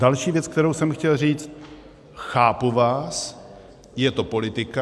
Další věc, kterou jsem chtěl říct - chápu vás, je to politika.